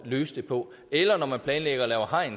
løse det på eller når man planlægger at lave hegn